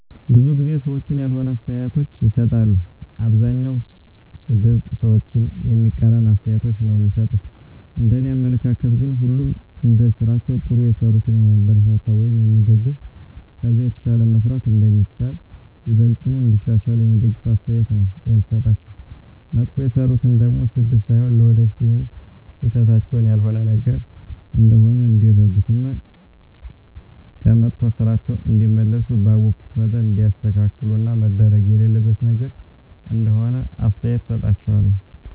ብዙ ጊዜ ሰዎች ያልሆነ አስተያየቶችን ይሰጣሉ። አብዛኛዉ ሰድብ፣ ሰዎችን የሚቃረን አስተያየቶች ነዉ እሚሰጡት፤ እንደኔ አመለካከት ግን ሁሉንም እንደስራቸዉ ጥሩ የሰሩትን የሚያበረታታ ወይም የሚደገፍ ከዛ የተሻለ መስራት እንደሚቻል፣ ይበልጥኑ እንዲያሻሽሉ የሚደግፍ አስተያየት ነዉ የምሰጣቸዉ፣ መጥፎ የሰሩትን ደሞ ስድብ ሳይሆን ለወደፊት ይሀን ስህተታቸዉን ያልሆነ ነገር እንደሆነ እንዲረዱት እና ከመጥፋ ስራቸዉ እንዲመለሱ ባወኩት መጠን እንዲያስተካክሉት እና መደረግ የሌለበት ነገር እንደሆነ አስተያየት እሰጣቸዋለሁ።